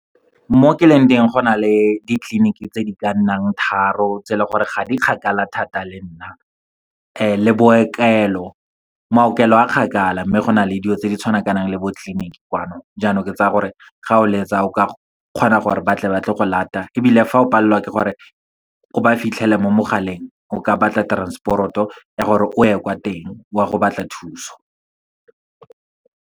Mo ke leng teng go na le ditleliniki tse di ka nnang tharo, tse e leng gore ga di kgakala thata le nna le bookelo. Maokelo a kgakala, mme go na le dilo tse di tshwanakanang le bo tleliniki kwano, jaanong ke tsaya gore ga o letsa o ka kgona gore batle ba tle go lata. Ebile fa o palelwa ke gore o ba fitlhele mo mogaleng, o ka batla transport-o ya gore o ye kwa teng we go batla thuso.